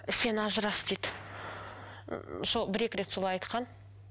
сен ажырас дейді сол бір екі рет солай айтқан